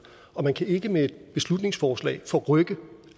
og man kan ikke med et beslutningsforslag forrykke